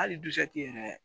Hali dusɛki yɛrɛ